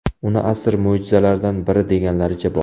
Uni asr mo‘jizalaridan biri deganlaricha bor.